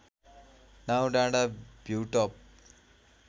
Naudanda view top